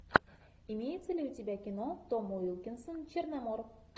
имеется ли у тебя кино том уилкинсон черномор